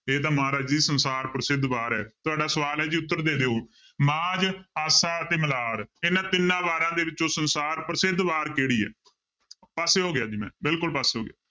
ਇਹ ਤਾਂ ਮਹਾਰਾਜ ਦੀ ਸੰਸਾਰ ਪ੍ਰਸਿੱਧ ਵਾਰ ਹੈ ਤੁਹਾਡਾ ਸਵਾਲ ਹੈ ਜੀ ਉੱਤਰ ਦੇ ਦਿਓ ਮਾਝ, ਆਸਾ, ਤੇ ਮਲਾਰ ਇਹਨਾਂ ਤਿੰਨਾਂ ਵਾਰਾਂ ਦੇ ਵਿੱਚੋਂ ਸੰਸਾਰ ਪ੍ਰਸਿੱਧ ਵਾਰ ਕਿਹੜੀ ਹੈ ਪਾਸੇ ਹੋ ਗਿਆ ਜੀ ਮੈਂ ਬਿਲਕੁਲ ਪਾਸੇ ਹੋ ਗਿਆ।